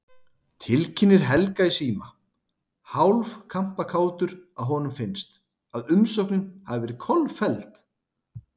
Tilkynnir Helga í síma, hálf kampakátur að honum finnst, að umsóknin hafi verið kolfelld.